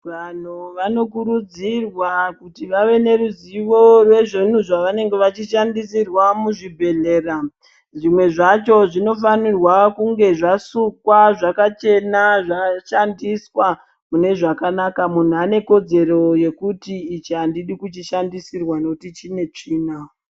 Vanhu vanokurudzirwa kuti vave neruzivo rezvinhu zvavanenge vechishandisirwa muzvibhedhlera zvimwe zvacho zvinofanirwa kunge zvasukwa zvakachena zvashandiswa mune zvakanaka, munhu ane kodzero yekuti ichi andidi kuchishandisirwa nekuti chine tsvina.